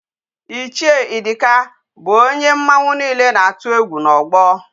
Ichie Idika bu onye mmanwu niile na-atu egwu n'ogbo.